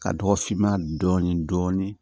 Ka dɔgɔ finma dɔɔnin